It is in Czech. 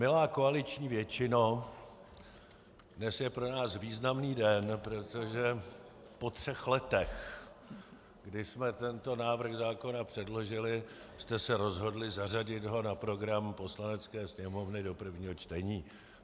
Milá koaliční většino, dnes je pro nás významný den, protože po třech letech, kdy jsme tento návrh zákona předložili, jste se rozhodli zařadit ho na program Poslanecké sněmovny do prvního čtení.